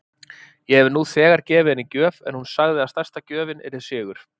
Ég hef nú þegar gefið henni gjöf en hún sagði að stærsta gjöfin yrði sigur.